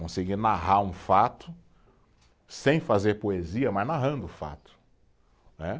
Conseguir narrar um fato sem fazer poesia, mas narrando o fato, né.